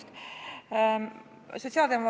Tere hommikust!